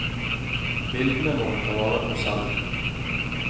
Bildene må hun ta vare på selv.